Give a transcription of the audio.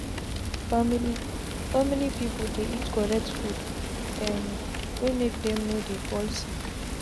family family people dey eat correct food um wey make them no dey fall sick.